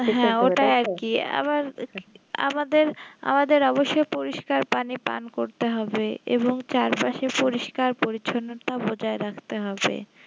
হ্যাঁ ওটাই আরকি আবার আমাদের আমাদের অবশ্য পরিস্কার পানি পান করতে হবে এবং চারপাশে পরিষ্কার পরিচ্ছন্নতা বজায় রাখতে হবে